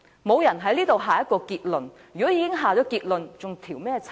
沒有人在此下結論，如果已下結論，還用調查嗎？